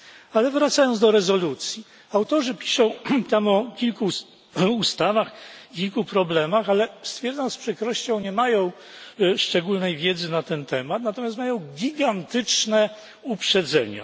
Ale wracając do rezolucji autorzy piszą tam o kilku ustawach i kilku problemach, ale stwierdzam z przykrością nie mają szczególnej wiedzy na ten temat. Natomiast mają gigantyczne uprzedzenia.